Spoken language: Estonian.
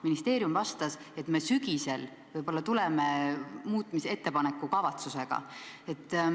Ministeerium vastas, et nad sügisel võib-olla tulevad muutmisettepaneku kavatsusega.